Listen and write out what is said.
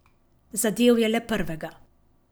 Zadel je le prvega.